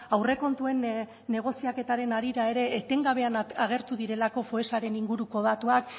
aurrekontuen negoziaketaren harira ere etengabean agertu direlako foessaren inguruko datuak